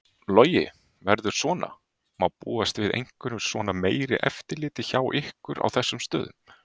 Logi: Verður svona, má búast við einhverju svona meira eftirliti hjá ykkur á þessum stöðum?